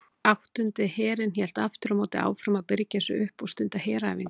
Áttundi herinn hélt aftur á móti áfram að birgja sig upp og stunda heræfingar.